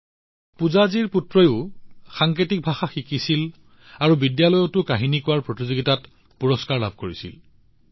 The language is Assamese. পূজাজীৰ পুত্ৰইও সাংকেতিক ভাষা শিকিছিল আৰু বিদ্যালয়ত তেওঁ কাহিনী কোৱাৰ ক্ষেত্ৰত পুৰস্কাৰ লাভ কৰিও দেখুৱাইছিল